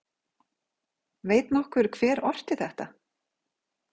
Veit nokkur hver orti þetta????